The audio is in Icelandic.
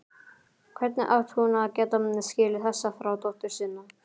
Hvernig átti hún að geta skilið þessa þrá dóttur sinnar?